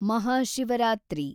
Mahashivratri